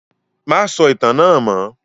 Má sọ ìtàn náà mọ́!